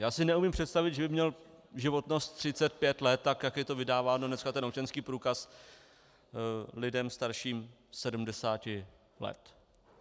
Já si neumím představit, že by měl životnost 35 let, tak jak je to vydáváno dneska, ten občanský průkaz lidem starším 70 let.